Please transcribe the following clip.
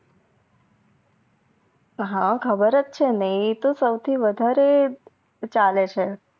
હા ખબારજ છે ને એ તો સાવથી વધરે ચાલે છે